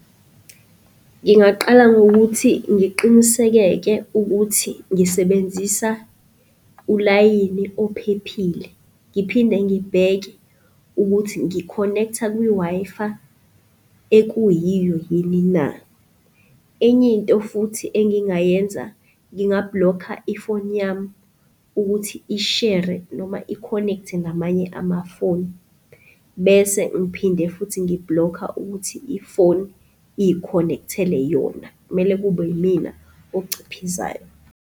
Ngingaqala ngokuthi ngiqinisekeke ukuthi ngisebenzisa ulayini ophephile. Ngiphinde ngibheke ukuthi ngi-connect-a kwi-Wi-Fi ekuyiyo yini na? Enye into futhi engingayenza nginga-block-a i-phone yami ukuthi ishere noma i-connect-e namanye amafoni bese ngiphinde futhi ngi-block-a ukuthi ifoni iy'-connect-ele yona. Kumele kube yimina ociphizayo.